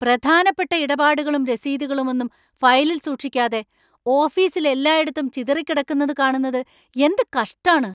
പ്രധാനപ്പെട്ട ഇടപാടുകളും രസീതുകളുമൊന്നും ഫയലില്‍ സൂക്ഷിക്കാതെ ഓഫീസിൽ എല്ലായിടത്തും ചിതറിക്കിടക്കുന്നത് കാണുന്നത് എന്ത് കഷ്ടാണ്‌.